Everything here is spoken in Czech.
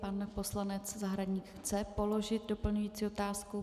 Pan poslanec Zahradník chce položit doplňující otázku?